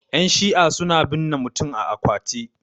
yanshi'a suna binne mutum a akwati